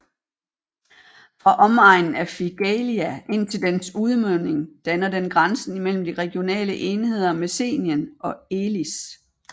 Fra omegnen af Figaleia indtil dens udmunding danner den grænsen mellem de regionale enheder Messenien og Elis